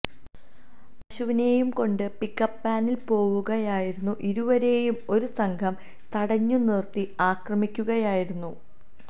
പശുവിനെയും കൊണ്ട് pick up വാനില് പോവുകയായിരുന്ന ഇരുവരെയും ഒരു സംഘം തടഞ്ഞുനിര്ത്തി ആക്രമിക്കുകയായിരുന്നു